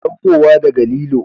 Saukowa daga lilo